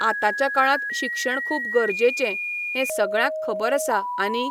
आतांच्या काळांत शिक्षण खूब गरजेचें, हें सगळ्यांक खबर आसा आनी